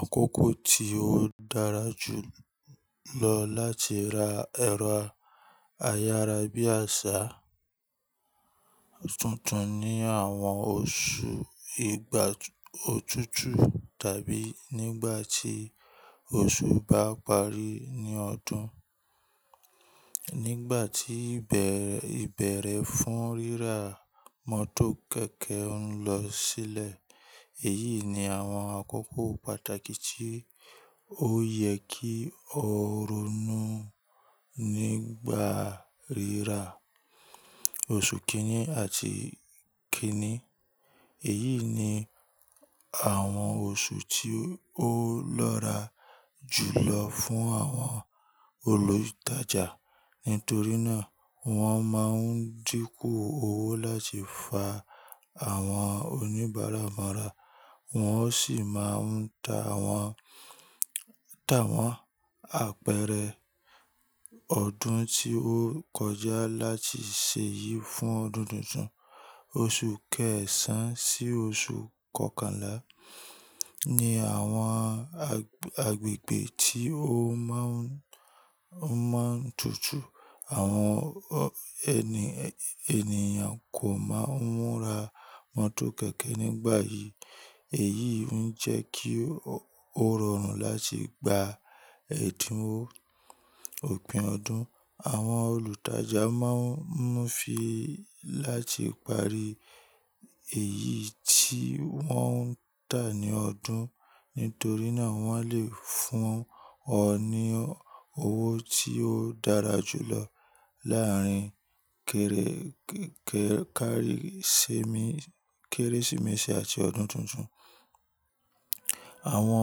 Àkókò tí ó dára jù lọ láti ra ẹ̀rọ ayára bí àṣá tuntun ni àwọn oṣù ìgbà òtútù tàbí nígbàtí oṣù bá parí ní ọdún. Nígbàtí ìbẹ̀rẹ̀ fún rírà mọ́tò kẹ̀kẹ́ ń lọ sílẹ̀, èyí ni àwọn àkókò pàtàkì tí ó yẹ kí o ronú nígbà rírà. Oṣù kíní àti kíní, èyí ni àwọn oṣù tí ó lọ́ra jùlọ fún àwọn olùtajà. Nítorí náà, wọ́n ma ń dínkù owó láti fa àwọn oníbàrà mọ́ra, wọ́n sì máa ń ta wọ́n àpẹrẹ ọdún tí ó kọjá láti ṣe yí fún ọdún tuntun. Oṣù kẹsàn sí oṣù kọkànlá ni àwọn agbègbè tí ó ma ń tutù. Àwọn ènìyàn kò ma ń múra mọ́tò kẹ̀kẹ́ nígbàyí. Èyíì ń jẹ́ kí ó rọrùn láti gba ẹ̀dínwó òpin ọdún. Àwọn olùtajà ma ń mú fi láti parí èyí tí wọ́n ń tà ní ọdún. Nítorí náà, wọ́n lè fún ọ ní owó tí ó dára jùlọ láàrin Keresimesi àti ọdún tuntun. Àwọn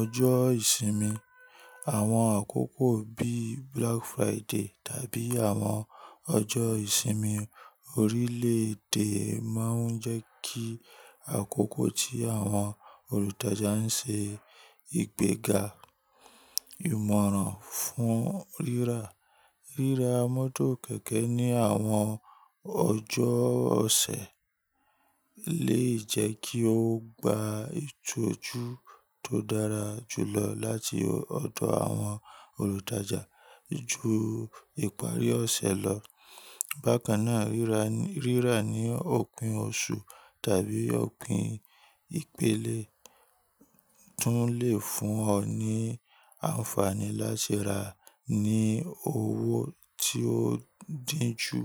ọjọ́ ìsinmi, àwọn àkókò bí Black Friday tàbí àwọn ọjọ́ ìsinmi orílẹ̀-èdè máa ń jẹ́ kí àkókò tí àwọn olùtajà ń ṣe ìgbéga ìmọ̀ràn fún rírà. Rírà mọ́tò kẹ̀kẹ́ ní àwọn ọjọ́ ọ̀sẹ̀ eléyìí jẹ́ kí o gba ìtọ́jú tí ó dára jù lọ láti ọ̀dọ̀ àwọn olùtajà ju ìparí ọ̀sẹ̀ lọ. Bákannà, rírà ní òpin oṣù tàbí òpin ìpele tún lè fún ọ ní ànfàní láti ra ní owó tí ó dínjù.